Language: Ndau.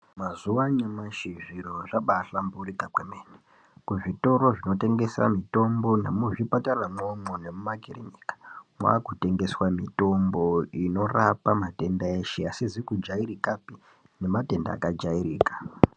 Mazuwa anyamashi zviro zvabaahlamburika kwemene. Kuzvitoro kunotengesa mitombo nemuzvipatara mwomwo nemumakirinika mwaakutengeswa mitombo inorapa matenda eshe. Asizi kujairikapi nematenda kajairika.